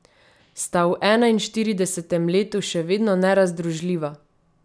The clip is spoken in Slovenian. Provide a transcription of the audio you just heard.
Sta v enainštiridesetem letu še vedno nerazdružljiva?